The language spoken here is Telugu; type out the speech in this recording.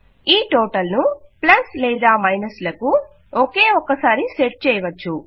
ఈ టోటల్ ను ప్లస్లేదా మైనస్ లకు ఒకే ఒక్క సారి సెట్ చేయవచ్చు